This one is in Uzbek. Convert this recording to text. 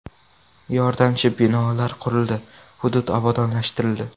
Yordamchi binolar qurildi, hudud obodonlashtirildi.